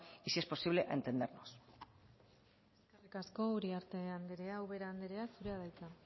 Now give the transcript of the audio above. y si es posible a entendernos eskerrik asko uriarte andrea ubera andrea zurea da hitza